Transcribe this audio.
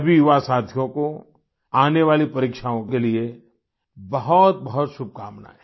सभी युवा साथियों को आने वाली परीक्षाओं के लिए बहुतबहुत शुभकामनाएं